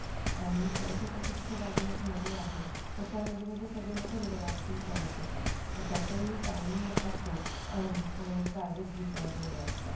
आणि कळत होतं की तिथे बाजूला एक नदी आहे. तर त्या नदीमध्ये सर्व लोक रिव्हर ॲक्टिंग करत होते तर त्याचे टाइमिंग असतो. आणि प्राईज डिसाइड असतात.